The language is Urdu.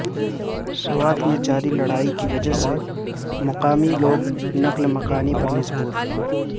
سوات میں جاری لڑائی کی وجہ سے مقامی لوگ نقل مکانی پر مجبور